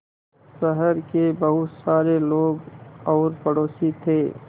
शहर के बहुत सारे लोग और पड़ोसी थे